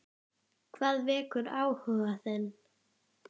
Hvað vekur áhuga þinn?